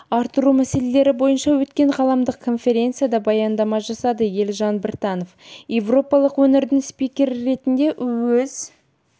арттыру мәселелері бойынша өткен ғаламдық конференцияда баяндама жасады елжан біртанов еуропалық өңірдің спикері ретінде іөз